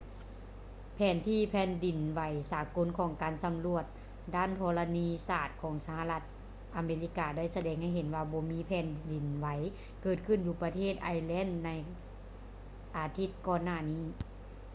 ແຜນທີ່ແຜ່ນດິນໄຫວສາກົນຂອງການສຳຫຼວດດ້ານທໍລະນີສາດຂອງສະຫະລັດອາເມລິກາໄດ້ສະແດງໃຫ້ເຫັນວ່າບໍ່ມີແຜ່ນດິນໄຫວເກີດຂຶ້ນຢູ່ປະເທດໄອແລນໃນອາທິດກ່ອນໜ້ານີ້